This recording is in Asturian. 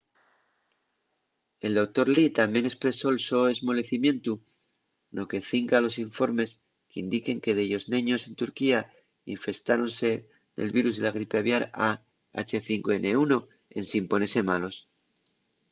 el doctor lee tamién espresó’l so esmolecimientu no que cinca a los informes qu’indiquen que dellos neños en turquía infestáronse del virus de la gripe aviar a h5n1 ensin ponese malos